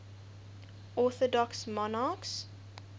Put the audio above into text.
orthodox monarchs